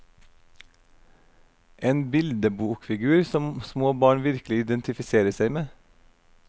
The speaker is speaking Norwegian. En bildebokfigur som små barn virkelig identifiserer seg med.